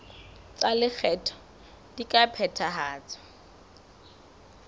tsa lekgetho di ka phethahatswa